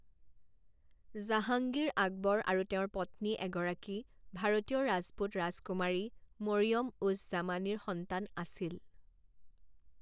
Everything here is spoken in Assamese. জাহাঙ্গীৰ আকবৰ আৰু তেওঁৰ পত্নী এগৰাকী ভাৰতীয় ৰাজপুত ৰাজকুমাৰী মৰিয়ম উজ জামানিৰ সন্তান আছিল।